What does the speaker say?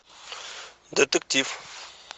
детектив